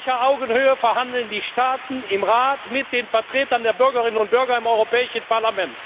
prägt. Auf gleicher Augenhöhe verhandeln die Staaten im Rat mit den Vertretern der Bürgerinnen und Bürger im Europäischen Parlament